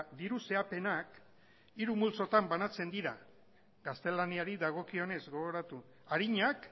diru zehapenak hiru multzotan banatzen dira gaztelaniari dagokionez gogoratu arinak